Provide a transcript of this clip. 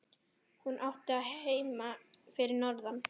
Hún átti heima fyrir norðan.